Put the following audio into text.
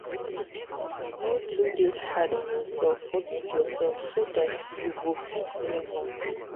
no too dey hard on yourself forgive yourself so dat you go fit move on